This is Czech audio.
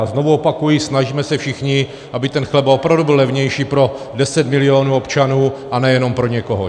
A znovu opakuji, snažme se všichni, aby ten chleba opravdu byl levnější pro 10 milionů občanů a ne jenom pro někoho.